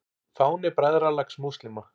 Fáni Bræðralags múslíma.